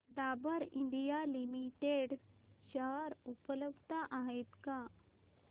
Dabur India limited share उपलब्ध आहेत का